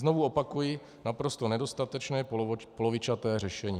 Znovu opakuji, naprosto nedostatečné, polovičaté řešení.